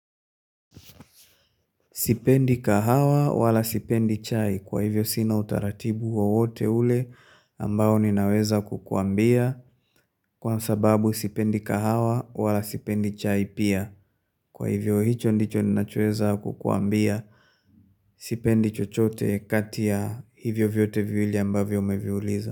Sipendi kahawa wala sipendi chai kwa hivyo sina utaratibu wowote ule ambao ninaweza kukuambia kwa sababu sipendi kahawa wala sipendi chai pia kwa hivyo hicho ndicho ninachoeza kukuambia sipendi chochote kati ya hivyo vyote viwili ambavyo umeviuliza.